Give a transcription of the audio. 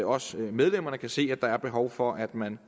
også medlemmerne kan se at der er behov for at man